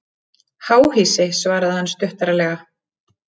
Háhýsi svaraði hann stuttaralega.